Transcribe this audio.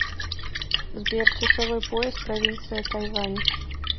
сбер часовой пояс провинция тайвань